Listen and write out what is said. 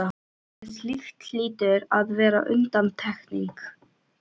en slíkt hlýtur að vera undantekning.